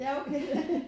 Ja okay